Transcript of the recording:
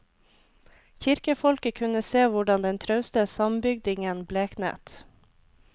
Kirkefolket kunne se hvordan den trauste sambygdingen bleknet.